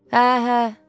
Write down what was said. Hə, hə.